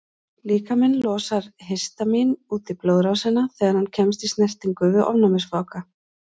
Líkaminn losar histamín út í blóðrásina þegar hann kemst í snertingu við ofnæmisvaka.